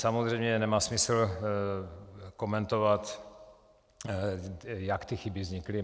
Samozřejmě nemá smysl komentovat, jak ty chyby vznikly.